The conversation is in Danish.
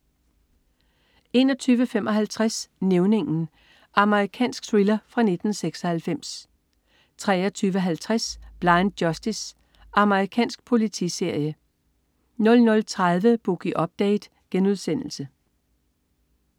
21.55 Nævningen. Amerikansk thriller fra 1996 23.50 Blind Justice. Amerikansk politiserie 00.30 Boogie Update*